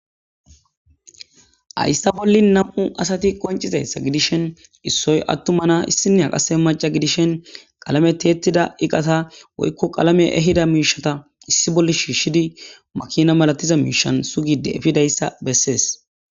ayssa bolli nam7u asati qoncizayssa gidishen issoy attumana issinea qase maca gidishen qalame teettida iqata woykko qalame ehida miishata issi bolle shiishshidi makina malatiza miishan sugide efidayssa bessees